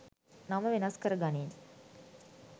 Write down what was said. නම වෙනස් කරගනින්